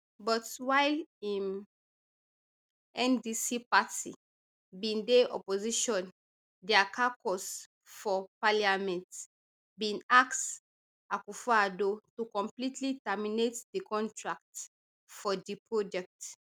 but while im ndc party bin dey opposition dia caucus for parliament bin ask akuffoaddo to completely terminate di contract for di project